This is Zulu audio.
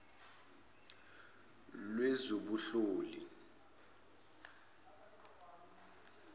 lwezobunhloli